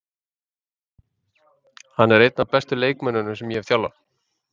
Hann er einn af bestu leikmönnunum sem ég hef þjálfað.